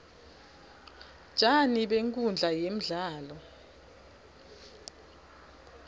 tjani benkhundla yemdlalo